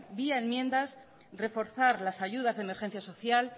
vía enmiendas reforzar las ayudas de emergencia social